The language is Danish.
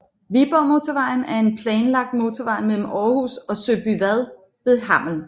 Viborgmotorvejen er en planlagt motorvej mellem Aarhus og Søbyvad ved Hammel